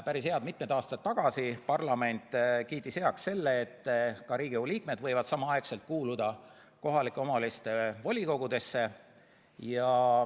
Päris mitmed aastad tagasi kiitis parlament heaks selle, et Riigikogu liikmed võivad samaaegselt kuuluda ka kohalike omavalitsuste volikogudesse.